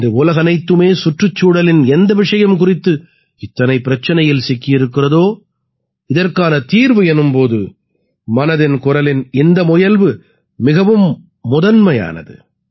இன்று உலகனைத்துமே சுற்றுச்சூழலின் எந்த விஷயம் குறித்து இத்தனை பிரச்சினையில் சிக்கி இருக்கிறதோ இதற்கான தீர்வு எனும் போது மனதின் குரலின் இந்த முயல்வு மிகவும் முதன்மையானது